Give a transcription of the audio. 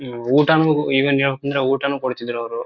ಹ್ಮ್ಮ್ ಊಟನು ಐವನ್ ಹೇಳ್ಬೇಕು ಅಂದ್ರೆ ಊಟನು ಕೊಡ್ತಿದ್ರು ಅವರು.